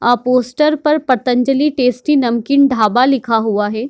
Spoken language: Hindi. आ पोस्टर पर पतंजलि टेस्टी नमकीन ढाबा लिखा हुआ है।